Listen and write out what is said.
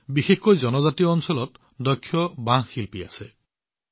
বিশেষকৈ জনজাতীয় অঞ্চলত বহুতো দক্ষ বাঁহশিল্পী দক্ষ শিল্পী আছে